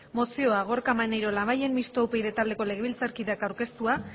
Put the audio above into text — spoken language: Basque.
mozioa gorka maneiro labayen mistoa upyd taldeko legebiltzarkideak aurkeztua